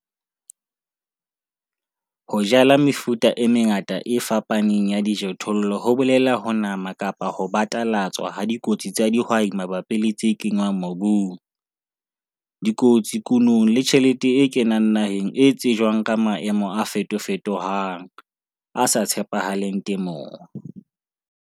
Ho jala mefuta e mengata e fapaneng ya dijothollo ho bolela ho nama kapa ho batalatswa ha dikotsi tsa dihwai mabapi le tse kenngwang mobung, dikotsi kunong le tjheleteng e kenang naheng e tsejwang ka maemo a fetofetohang, a sa tshepahaleng temong.